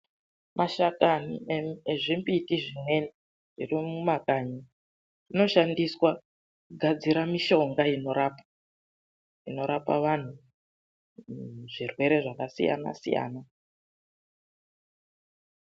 Mashakani ezvimbiti zvimweni zviri mumakanyi anoshandiswa kugadzire mishonga inorapa, inorapa vanhu zvirwere zvakasiyana siyana.